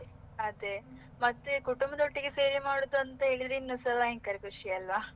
ಅದೇ, ಮತ್ತೆ ಕುಟುಂಬದೊಟ್ಟಿಗೆ ಸೇರಿ ಮಾಡುವುದಂತ ಹೇಳಿದ್ರೆ ಸಹ ಭಯಂಕರ ಖುಷಿ ಅಲ್ವಾ.